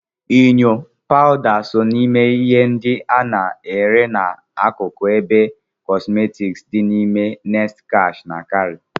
Enyo, pawuda so na ihe ndị a na-ere n'akụkụ ebe kọsmetiki dị n'ime Next Cash and Carry